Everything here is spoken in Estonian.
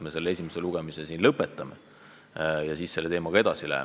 Me peame esimese lugemise lõpetama ja teemaga edasi minema.